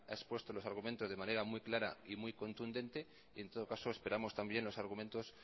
expuesto los argumentos de una manera muy clara y muy contundente en todo caso esperamos también los argumentos